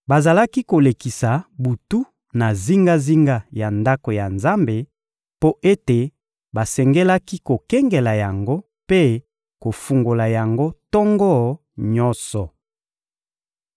Bazalaki kolekisa butu na zingazinga ya Ndako ya Nzambe mpo ete basengelaki kokengela yango mpe kofungola yango tongo nyonso.